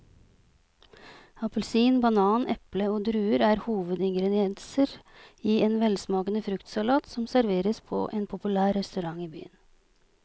Appelsin, banan, eple og druer er hovedingredienser i en velsmakende fruktsalat som serveres på en populær restaurant i byen.